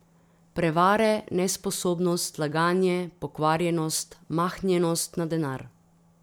Prevare, nesposobnost, laganje, pokvarjenost, mahnjenost na denar.